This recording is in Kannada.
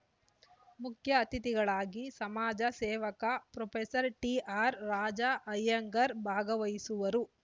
ಮುಖ್ಯ ಅತಿಥಿಗಳಾಗಿ ಸಮಾಜ ಸೇವಕ ಪ್ರೊಫೆಸರ್ ಟಿಆರ್ ರಾಜ ಐಯಂಗಾರ್ ಭಾಗವಹಿಸುವರು